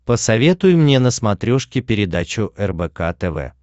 посоветуй мне на смотрешке передачу рбк тв